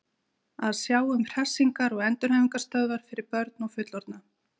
Að sjá um hressingar- og endurhæfingarstöðvar fyrir börn og fullorðna.